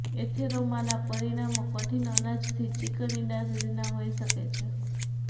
એથેરોમાના પરિમાણો કંઠીક અનાજથી ચિકન ઇંડા સુધીના હોઈ શકે છે